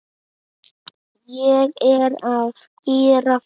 Ég er að gera það.